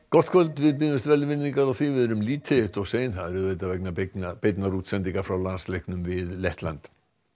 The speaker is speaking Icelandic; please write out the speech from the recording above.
gott kvöld við biðjumst velvirðingar á því að við erum lítið eitt of sein það er auðvitað vegna beinnar beinnar útsendingar frá landsleiknum við Lettland